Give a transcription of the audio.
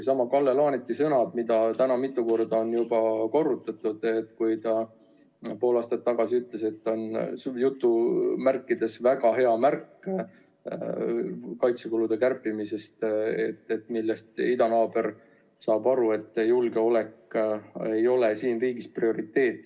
Kalle Laaneti sõnad, mis ta pool aastat tagasi ütles ja mida on täna juba mitu korda korrutatud, on "väga hea" märk kaitsekulude kärpimisest, millest idanaaber saab aru, et julgeolek ei ole siin riigis prioriteet.